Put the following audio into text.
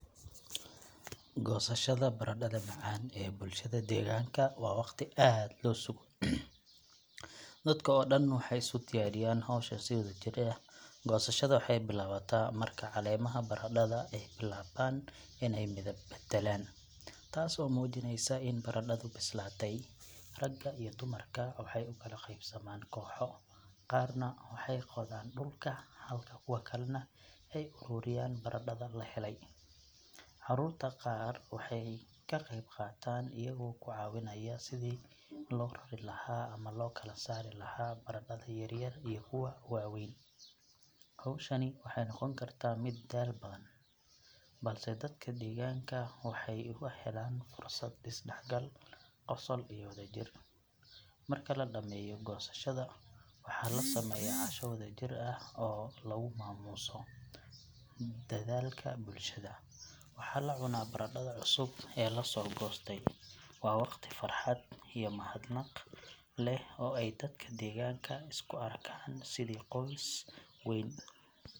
Goosashada baradhada macaan ee bulshada deegaanka waa waqti aad loo sugo, dadka oo dhan waxay isu diyaariyaan hawshan si wadajir ah. Goosashada waxay bilaabataa marka caleemaha baradhada ay bilaabaan inay midab beddelaan, taas oo muujinaysa in baradhadu bislaatay. Ragga iyo dumarku waxay u kala qaybsamaan kooxo, qaarna waxay qodaan dhulka halka kuwa kalena ay ururiyaan baradhada la helay. Caruurta qaar waxay ka qayb qaataan iyagoo ku caawinaya sidii loo rari lahaa ama loo kala saari lahaa baradhada yaryar iyo kuwa waaweyn. Hawshani waxay noqon kartaa mid daal badan, balse dadka deegaanka waxay uga helaan fursad isdhexgal, qosol, iyo wadajir. Marka la dhammeeyo goosashada, waxaa la sameeyaa casho wadajir ah oo lagu maamuuso dadaalka bulshada, waxaana la cunaa baradhada cusub ee la soo goostay. Waa waqti farxad iyo mahadnaq leh oo ay dadka deegaanka isku arkaan sidii qoys weyn.